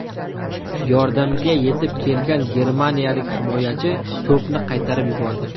Yordamga yetib kelgan germaniyalik himoyachi to‘pni qaytarib yubordi.